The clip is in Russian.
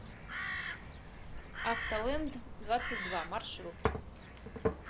автолэнддвадцатьдва маршрут